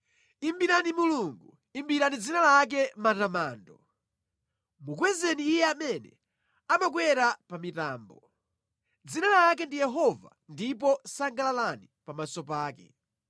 Imbirani Mulungu imbirani dzina lake matamando, mukwezeni Iye amene amakwera pa mitambo; dzina lake ndi Yehova ndipo sangalalani pamaso pake.